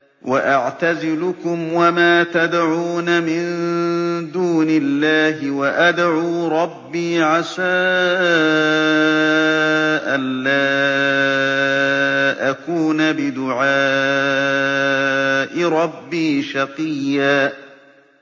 وَأَعْتَزِلُكُمْ وَمَا تَدْعُونَ مِن دُونِ اللَّهِ وَأَدْعُو رَبِّي عَسَىٰ أَلَّا أَكُونَ بِدُعَاءِ رَبِّي شَقِيًّا